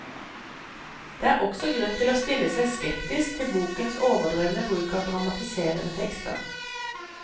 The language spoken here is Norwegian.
Det er også grunn til å stille seg skeptisk til bokens overdrevne bruk av dramatiserende tekster.